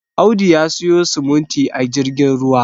Audu ya siyo simuti a jirgin ruwa